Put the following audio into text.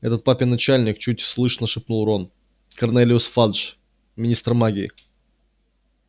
этот папин начальник чуть слышно шепнул рон корнелиус фадж министр магии